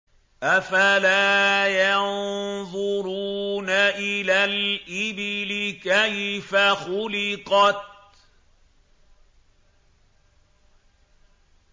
أَفَلَا يَنظُرُونَ إِلَى الْإِبِلِ كَيْفَ خُلِقَتْ